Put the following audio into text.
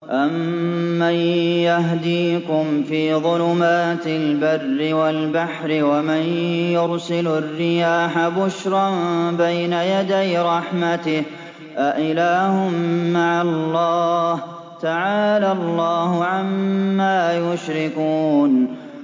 أَمَّن يَهْدِيكُمْ فِي ظُلُمَاتِ الْبَرِّ وَالْبَحْرِ وَمَن يُرْسِلُ الرِّيَاحَ بُشْرًا بَيْنَ يَدَيْ رَحْمَتِهِ ۗ أَإِلَٰهٌ مَّعَ اللَّهِ ۚ تَعَالَى اللَّهُ عَمَّا يُشْرِكُونَ